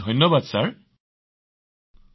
ধন্যবাদ মহোদয়